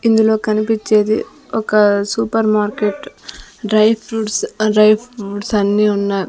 ఇందులో కనిపిచ్చేది ఒక super market dry fruits dry fruit అన్నీ ఉన్నాయ్.